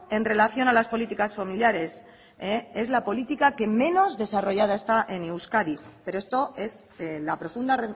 en relación a las políticas familiares es la política que menos desarrollada está en euskadi pero esto es la profunda